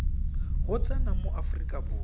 go tsena mo aforika borwa